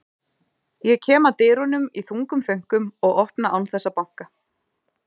Ég kem að dyrunum í þungum þönkum og opna án þess að banka.